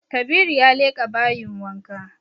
Kabiru ya leƙa bayin wanka